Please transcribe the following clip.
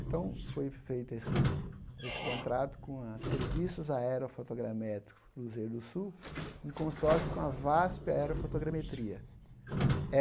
Então, foi feito esse esse contrato com a Serviços Aerofotogramétricos Cruzeiro do Sul, em consórcio com a VASP Aerofotogrametria.